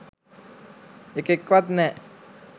එකෙක්වත් නෑ